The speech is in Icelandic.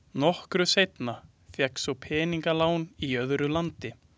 Nokkru seinna fékkst svo peningalán í öðru landi.